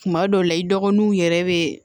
Kuma dɔw la i dɔgɔninw yɛrɛ bɛ